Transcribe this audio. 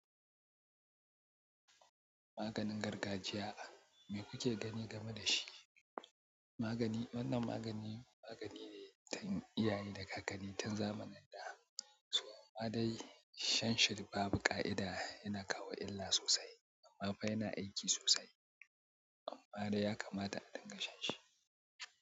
Maganin gargajiya me kuke gani game da shi? Magani, wannan magani magani ne tun iyaye da kakanni tun zamanin da. Su ma dai shan shi babu ƙa'ida yana kawo illa sosai. Amma fa yana aiki sosai. Amma dai ya kamata a dinga shan shi.